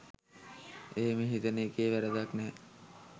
එහෙම හිතන එකේ වරදක් නැහැ